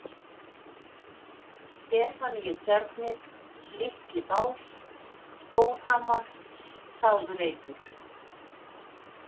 Stefaníutjarnir, Litli-Bás, Stórhamar, Sáðreitur